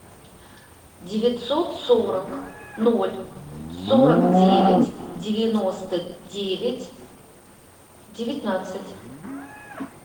девятьсот сорок ноль сорок девять девяносто девять девятнадцать